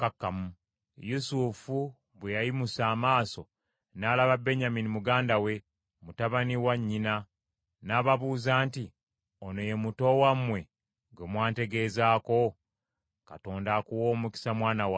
Yusufu bwe yayimusa amaaso, n’alaba Benyamini muganda we, mutabani wa nnyina. N’ababuuza nti, “Ono ye muto wammwe gwe mwantegeezako? Katonda akuwe omukisa mwana wange.”